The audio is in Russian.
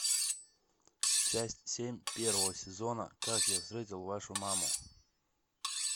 часть семь первого сезона как я встретил вашу маму